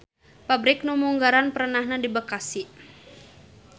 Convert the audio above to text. Pabrik nu munggaran perenahna di Bekasi.